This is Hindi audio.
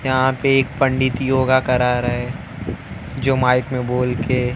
यहां पे एक पंडित योग करा रहे जो माइक में बोल के--